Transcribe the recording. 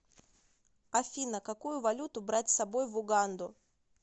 афина какую валюту брать с собой в уганду